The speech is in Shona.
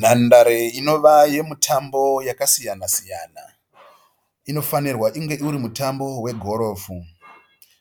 Nhandare inova yemutambo yakasiyana siyana. Inofanirwa inge uri mutambo wegorofu.